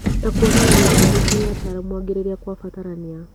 Na kũonereria arwaru kũrĩ ataaramu angĩ rĩrĩa gwabatarania